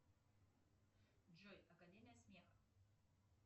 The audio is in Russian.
джой академия смеха